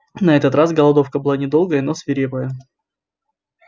на этот раз голодовка была недолгая но свирепая